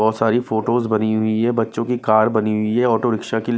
बहुत सारी फोटोज बनी हुई है बच्चों की कार बनी हुई है ऑटो रिक्शा की--